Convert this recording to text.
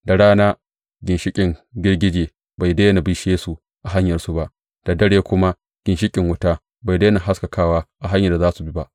Da rana, ginshiƙin girgije bai daina bishe su a hanyarsu ba, da dare kuma ginshiƙin wuta bai daina haskakawa a hanyar da za su bi ba.